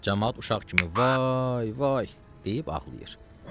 Camaat uşaq kimi vay, vay deyib ağlayır.